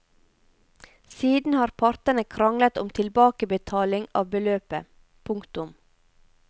Siden har partene kranglet om tilbakebetaling av beløpet. punktum